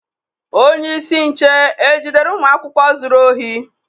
Onyeisi nche ejidere ụmụ akwụkwọ zuru ohi?